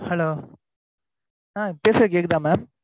Hello பேசுறது கேக்குதா madam